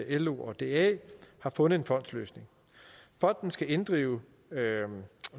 lo og da har fundet en fondsløsning fonden skal inddrive